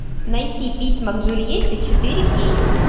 найти письма к джульетте четыре кей